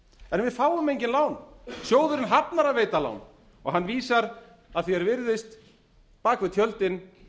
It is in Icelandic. við fáum engin lán sjóðurinn hafnar að veita lán og hann vísar að því er virðist á bak við tjöldin